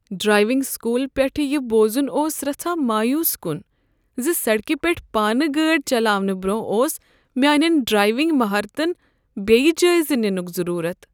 Driving school پیٹھٕ یہ بوزن اوس رژھاہ مایوس کن ز سڑکہ پیٹھ پانہٕ گٲڑۍ چلاونہٕ برٛۄنٛہہ اوس میانین ڈرائیونگ مہارتن بیٚیہ جٲیزٕ ننک ضرورت۔